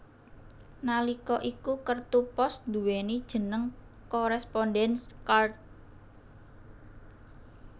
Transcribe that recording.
Nalika iku kertu pos nduwéni jeneng Correspondenz Karte